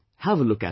Have a look at it